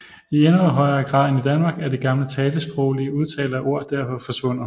I endnu højere grad end i Danmark er de gamle talesproglige udtaler af ord derfor forsvundet